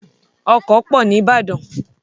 Ọkọ̀ pọ̀ ní Ìbàdàn.